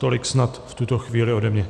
Tolik snad v tuto chvíli od mě.